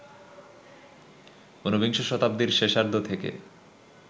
উনবিংশ শতাব্দীর শেষার্ধ থেকে